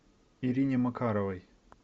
ирине макаровой